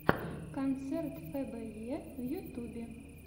концерт фэ бэ е в ютюбе